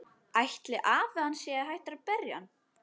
Ætli afi hans sé hættur að berja hann?